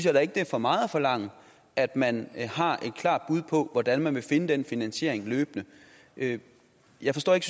at det er for meget at forlange at man har et klart bud på hvordan man vil finde den finansiering løbende jeg forstår ikke